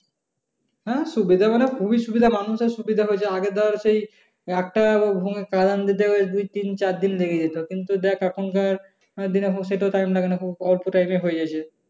হ্যাঁ সুবিধা মানে খুবই সুবিধা মানুষের সুবিধা হয়েছে। আগে ধর সেই দুই তিন চার দিন লেগে যেত কিন্তু এখনকার দিনে এখন সেটাও time লাগে না খুব অল্প time এ হয়ে যায় সেটা।